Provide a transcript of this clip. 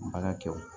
Baara kɛ o